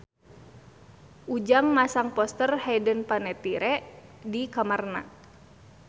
Ujang masang poster Hayden Panettiere di kamarna